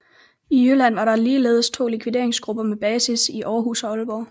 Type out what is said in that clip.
I Jylland var der ligeledes to likvideringsgrupper med basis i Århus og Aalborg